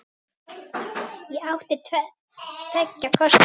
Ég átti tveggja kosta völ.